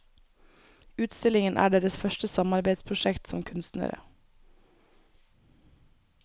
Utstillingen er deres første samarbeidsprosjekt som kunstnere.